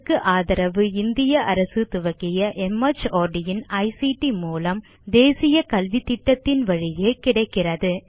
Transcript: இதற்கு ஆதரவு இந்திய அரசு துவக்கிய மார்ட் இன் ஐசிடி மூலம் தேசிய கல்வித்திட்டத்தின் வழியே கிடைக்கிறது